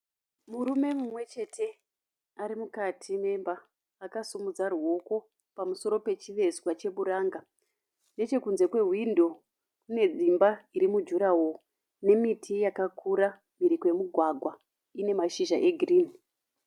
Murume mumwe chete arimukati memba akasimudza ruoko pamusoro chivezwa chepranga, nechekunze kwehwindo kune dzimba irimu gurawall ine miti yakakura mhiri kwekumugwagwa ine mhahizha egreen.